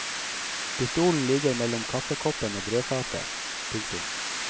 Pistolen ligger mellom kaffekoppen og brødfatet. punktum